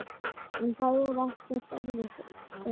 En það er ekkert erfitt er það?